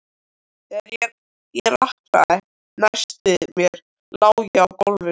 Þegar ég rankaði næst við mér lá ég á gólfinu.